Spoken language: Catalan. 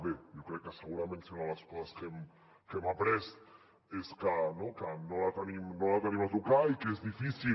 bé jo crec que segurament una de les coses que hem après és que no la tenim a tocar i que és difícil